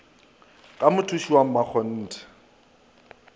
ka mothuši wa mmakgonthe wa